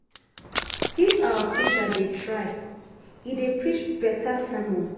Dis our preacher dey try e dey preach beta sermon